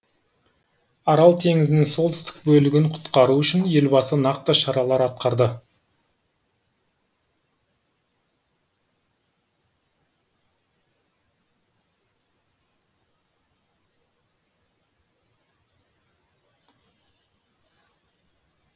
арал теңізінің солтүстік бөлігін құтқару үшін елбасы нақты шаралар атқарды